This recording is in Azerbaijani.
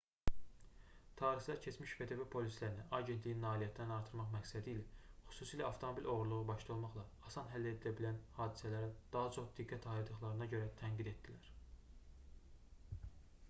tarixçilər keçmiş ftb polislərini agentliyin nailiyyətlərini artırmaq məqsədilə xüsusilə avtomobil oğurluğu başda olmaqla asan həll edilə bilən hadisələrə daha çox diqqət ayırdıqlarına görə tənqid etdilər